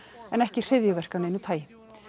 en ekki hryðjuverk af neinu tagi